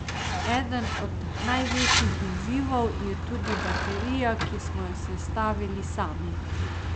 Eden od največjih izzivov je tudi baterija, ki smo jo sestavili sami.